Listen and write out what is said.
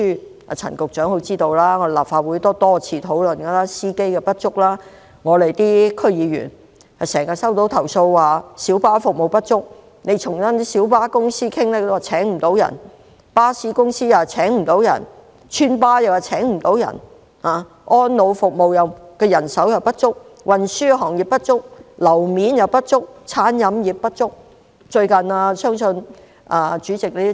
例如運輸，陳局長都知道，立法會多次討論司機不足的問題，區議員也經常接獲小巴服務不足的投訴，我們跟小巴公司商討，他們表示請不到足夠司機，巴士公司和村巴公司也同樣表示請不到足夠司機。